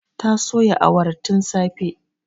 Ta soya awarar tin safe